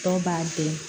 Dɔw b'a jeni